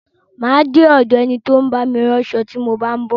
Má a de ọ̀do ẹni tí ó ń bá mi ránṣo tí mo bá ń bọ̀.